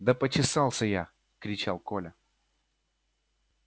да почесался я кричал коля